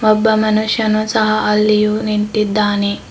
ಒಬ್ಬ ಮನುಷ್ಯನು ಸಹ ಅಲ್ಲಿಯೂ ನಿಂತಿದ್ದಾನೆ.